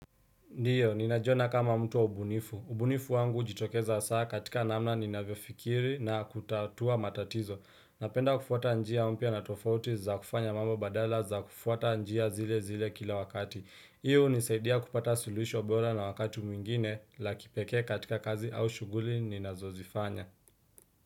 Ndiyo, ninajiona kama mtu wa ubunifu. Ubunifu wangu hujitokeza hasa katika namna ninavyo fikiri na kutatua matatizo. Napenda kufuata njia mpya na tofauti za kufanya mambo badala za kufuata njia zile zile kila wakati. Hii hunisaidia kupata suluhisho bora na wakati mwingine la kipekee katika kazi au shughuli ninazozifanya.